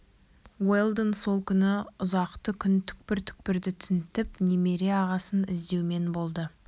уэлдон сол күні ұзақты күн түкпір-түкпірді тінтіп немере ағасын іздеумен болды